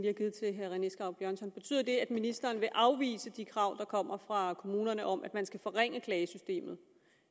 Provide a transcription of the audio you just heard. har givet til herre rené skau björnsson betyder det at ministeren vil afvise de krav der kommer fra kommunerne om at man skal forringe klagesystemet